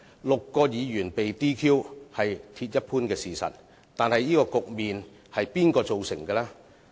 六位議員被 "DQ" 是鐵一般的事實，但這個局面是誰造成呢？